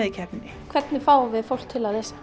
í keppninni hvernig fáum við fólk til að lesa